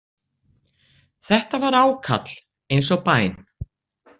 Þetta var ákall, eins og bæn.